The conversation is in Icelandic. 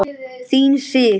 Þín Sif.